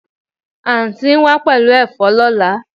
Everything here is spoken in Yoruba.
Anti n wa pelu efo lola